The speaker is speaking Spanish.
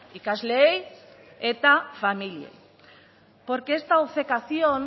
ikasleei eta familiei porque esta obcecación